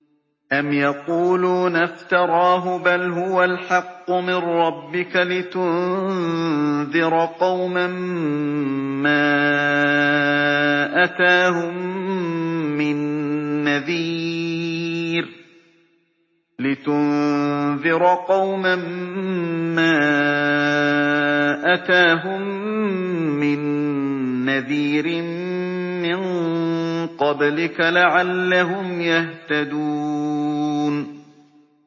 أَمْ يَقُولُونَ افْتَرَاهُ ۚ بَلْ هُوَ الْحَقُّ مِن رَّبِّكَ لِتُنذِرَ قَوْمًا مَّا أَتَاهُم مِّن نَّذِيرٍ مِّن قَبْلِكَ لَعَلَّهُمْ يَهْتَدُونَ